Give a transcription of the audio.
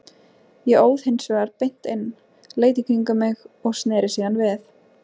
Ég óð hins vegar beint inn, leit í kringum mig og sneri síðan við.